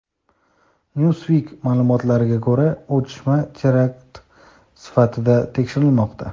"Newsweek" ma’lumotlariga ko‘ra, otishma terakt sifatida tekshirilmoqda.